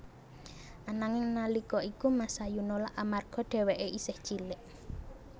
Ananging nalika iku Masayu nolak amarga dheweké isih cilik